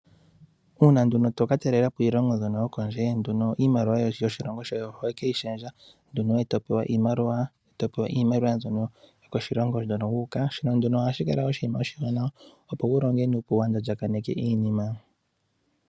Uuna to ka talelapo iilongo yokondje. Iimaliwa yoshilongo shoye ohoyi shendje eto pewa iimaliwa yomoshilongo hono wuuka. Shino ohashi kala oshiwanawa opo wu longe nuupu waalyalyaneke iinima yoye.